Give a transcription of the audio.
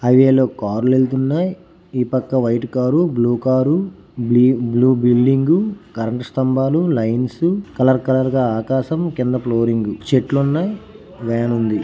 Highway లో కార్లు వెళుతున్నాయి ఈ పక్క white car blue car blue building current స్థంబాలు లైన్స్ కలర్ కలర్ గా ఆకాశం కింద ఫ్లోరింగ్ చెట్లున్నాయి వెనుండి.